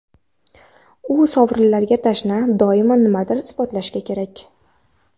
U sovrinlarga tashna, doimo nimanidir isbotlashi kerak.